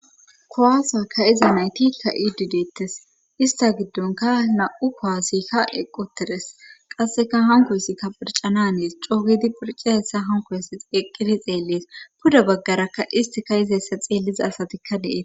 kowasakka iza naytikka idideettes ista giddonka na7u kowasikka eqqutides qasseka hanko hsikka phircana nees coogidi phirci hessa hanko hesa eqqidi xeellees puda baggarakka istika izahessa xeelliza asatikka dees